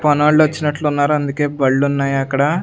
పనోలొచ్చినట్లున్నారు అందుకే బళ్ళున్నాయి అక్కడ.